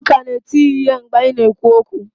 Ọ ka na-eti ya ihe mgbe anyị na-ekwu okwu